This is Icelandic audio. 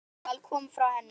Það orðaval kom frá henni.